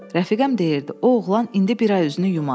Rəfiqəm deyirdi, o oğlan indi bir ay üzünü yumaz.